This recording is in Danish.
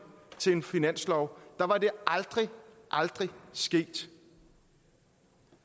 til en finanslov var det aldrig aldrig sket